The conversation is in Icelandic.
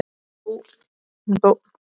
Hún dó svo ári síðar.